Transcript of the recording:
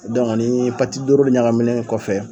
ni doro in ɲagaminen kɔfɛ